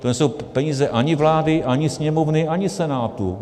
To nejsou peníze ani vlády, ani Sněmovny, ani Senátu.